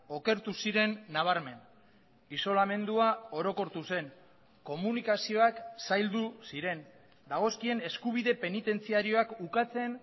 okertu ziren nabarmen isolamendua orokortu zen komunikazioak zaildu ziren dagozkien eskubide penitentziarioak ukatzen